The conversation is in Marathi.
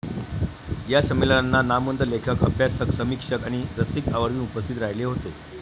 या संमेलनांना नामवंत लेखक, अभ्यासक, समीक्षक आणि रसिक आवर्जून उपस्थित राहिले होते.